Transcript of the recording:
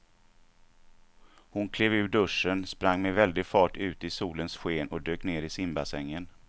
Hon klev ur duschen, sprang med väldig fart ut i solens sken och dök ner i simbassängen.